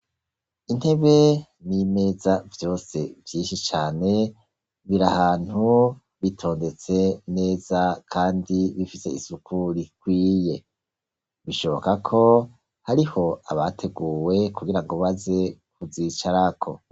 Intebe n'imeza vyose vyinshi cane, biri ahantu bitondetse neza kandi bifise isuku rikwiye. Bishoboka ko hariho abateguwe kugirango baze kuzicarako.